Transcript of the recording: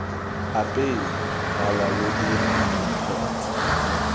apeye malwa lo dire mpho